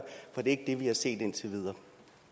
er ikke det vi har set indtil videre